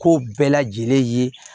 Ko bɛɛ lajɛlen ye